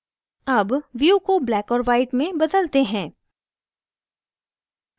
अब view को black और white में बदलते हैं